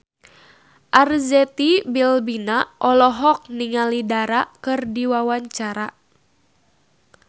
Arzetti Bilbina olohok ningali Dara keur diwawancara